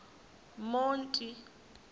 monti